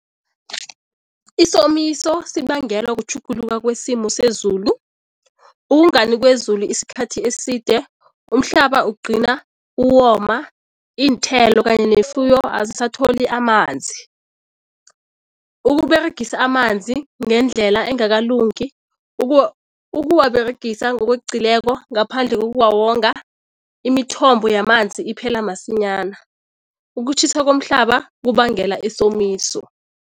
Isomiso sibangelwa kutjhuguluka kwesimo sezulu. Ukungani kwezulu isikhathi eside umhlaba ukugcina uwoma, iinthelo kanye nefuyo azisatholi amanzi. UkUberegisa amanzi ngendlela engakalungi, ukuwaberegisa ngokweqileko ngaphandle kokuwawonga, imithombo yamanzi iphela masinyana. Ukutjhisa komhlaba kubangela isomiso.